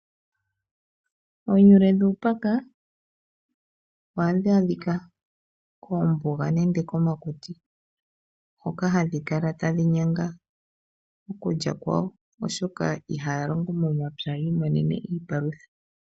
Oonyule dhuupaka ohadhi adhika koombuga nenge komakuti hoka hadhi kala tadhi nyanga okulya kwawo, oshoka ihaya longo momapya ya imonene iipalutha.